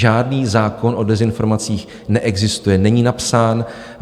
Žádný zákon o dezinformacích neexistuje, není napsán.